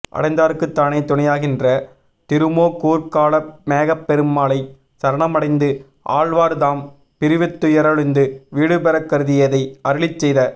அடைந்தார்க்குத் தானே துணையாகின்ற திருமோகூர்க் காளமேகப் பெருமாளைச் சரணமடைந்து ஆழ்வார் தாம் பிறவித்துயரொழிந்து வீடுபெறக் கருதியதை அருளிச் செய்த